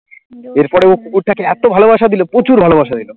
এরপরে ও কুকুরটাকে এত ভালোবাসা দিল প্রচুর ভালোবাসা দিল।